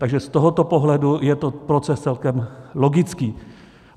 Takže z tohoto pohledu je to proces celkem logický.